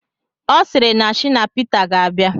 Ọ sịrị na shina pete ga-abịa